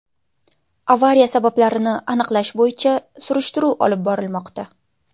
Avariya sabablarini aniqlash bo‘yicha surishtiruv olib borilmoqda.